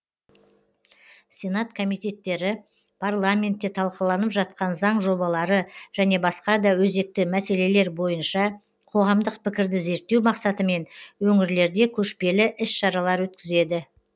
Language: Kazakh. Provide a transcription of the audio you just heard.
сенат комитеттері парламентте талқыланып жатқан заң жобалары және басқа да өзекті мәселелер бойынша қоғамдық пікірді зерттеу мақсатымен өңірлерде көшпелі іс шаралар өткізеді